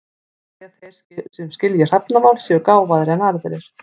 Sumir segja að þeir sem skilji hrafnamál séu gáfaðri en aðrir.